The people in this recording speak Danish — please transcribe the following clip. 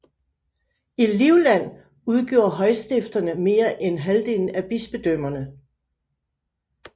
I Livland udgjorde højstifterne mere end halvdelen af bispedømmerne